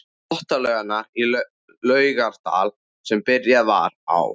Þvottalaugarnar í Laugardal sem byrjað var á